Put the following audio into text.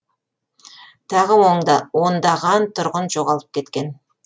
тағы ондаған тұрғын жоғалып кеткен